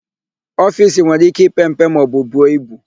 Ofiisi nwere íké ipe mpe maọbụ buo ibu.